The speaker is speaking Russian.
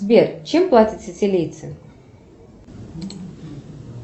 сбер чем платят сицилийцы